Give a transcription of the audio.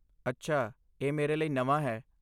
ਅੱਛਾ, ਇਹ ਮੇਰੇ ਲਈ ਨਵਾਂ ਹੈ।